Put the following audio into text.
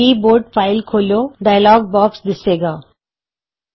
ਕੀ board file ਖੋਲ੍ਹੋ ਥੇ open keyboard file dialog box ਦਿੱਸੇਗਾ